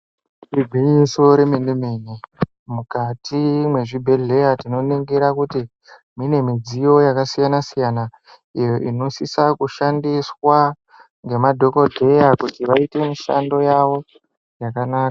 Igwinyiso remenemene, mukati mwezvibhedhleya tinoningira kuti mune midziyo yakasiyansiyana iyo inosisa kushandiswa ngemadhokodheya kuti mishando yavo yakanaka.